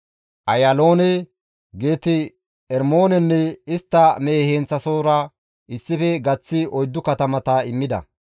Ayaaloone, Geet-Ermoonenne istta mehe heenththasohora issife gaththi 4 katamata immida.